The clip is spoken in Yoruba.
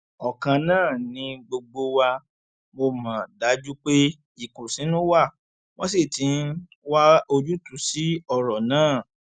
ọkan náà ni gbogbo wa mọ mo dájú pé ìkùnsínú wa wọn sì ti ń wá ojútùú sí ọrọ náà